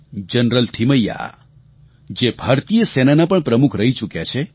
general Thimayya જે ભારતીય સેનાનાં પણ પ્રમુખ રહી ચૂક્યા છે